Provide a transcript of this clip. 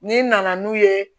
N'i nana n'u ye